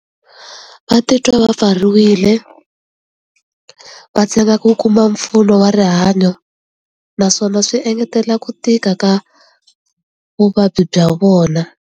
Va titwa va pfariwile va ku kuma mpfuno wa rihanyo naswona swi engetelela ku tika ka vuvabyi bya vona.